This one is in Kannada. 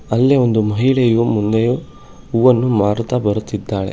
ಅಲ್ಲೇ ಒಂದು ಮಹಿಳೆಯು ಮುಂದೆಯು ಹೂವನ್ನು ಮಾರುತ್ತಾ ಬರುತ್ತಿದ್ದಾಳೆ.